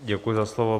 Děkuji za slovo.